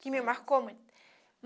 Que me marcou muito.